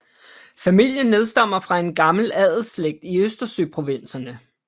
Familien nedstammer fra en gammel adelsslægt i Østersøprovinserne